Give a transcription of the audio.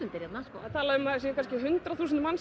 eru hérna talað um hundrað þúsund manns